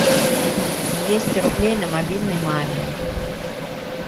двести рублей на мобильный маме